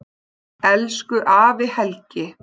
Elsku afi Helgi.